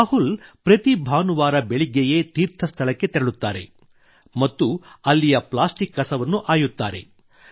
ರಾಹುಲ್ ಪ್ರತಿ ಭಾನುವಾರ ಬೆಳಿಗ್ಗೆಯೇ ಪವಿತ್ರ ತೀರ್ಥ ಸ್ಥಳಕ್ಕೆ ತೆರಳುತ್ತಾರೆ ಮತ್ತು ಅಲ್ಲಿಯ ಪ್ಲಾಸ್ಟಿಕ್ ಕಸವನ್ನು ಆಯುತ್ತಾರೆ